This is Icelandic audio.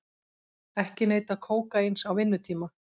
Ekki neyta kókaíns á vinnutíma